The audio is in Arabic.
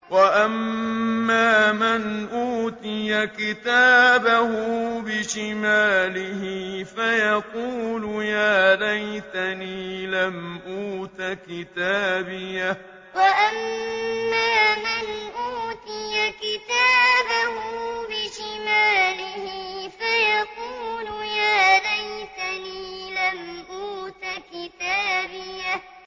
وَأَمَّا مَنْ أُوتِيَ كِتَابَهُ بِشِمَالِهِ فَيَقُولُ يَا لَيْتَنِي لَمْ أُوتَ كِتَابِيَهْ وَأَمَّا مَنْ أُوتِيَ كِتَابَهُ بِشِمَالِهِ فَيَقُولُ يَا لَيْتَنِي لَمْ أُوتَ كِتَابِيَهْ